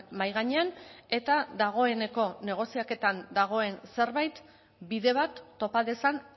mahai gainean eta dagoeneko negoziaketan dagoen zerbait bide bat topa dezan